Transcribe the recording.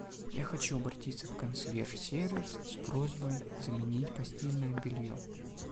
я хочу обратиться в консьерж сервис с просьбой заменить постельное белье